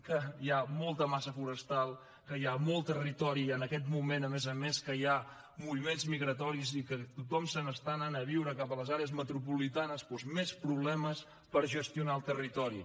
que hi ha molta massa forestal que hi ha molt territori i en aquest moment a més a més que hi ha moviments migratoris i que tothom s’està anant a viure cap a les àrees metropolitanes doncs més problemes per gestionar el territori